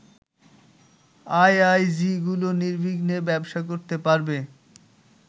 আইআইজিগুলো নির্বিঘ্নে ব্যবসা করতে পারবে